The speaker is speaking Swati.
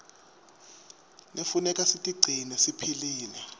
knefuneka sitigcine siphilile